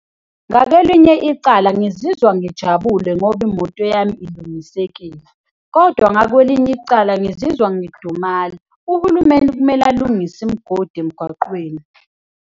Ngakelinye icala, ngizizwa ngijabule ngoba imoto yami ilungisekile kodwa ngakwelinye icala, ngizizwa ngidumala. Uhulumeni kumele alungise imigodi emgwaqweni.